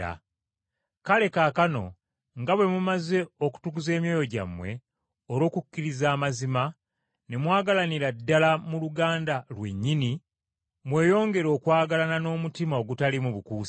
Kale kaakano nga bwe mumaze okutukuza emyoyo gyammwe olw’okukkiriza amazima, ne mwagalanira ddala mu luganda lwennyini, mweyongere okwagalana n’omutima ogutaliimu bukuusa.